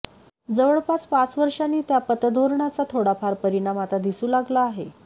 जवळपास पाच वर्षांनी त्या पतधोरणाचा थोडाफार परिणाम आता दिसू लागला आहे